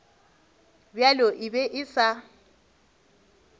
bjalo e be e sa